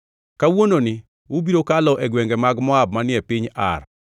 “Kawuononi ubiro kalo e gwenge mag Moab manie piny Ar.